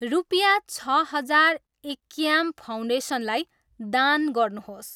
रुपियाँ छ हजार इक्याम फाउन्डेसन लाई दान गर्नुहोस्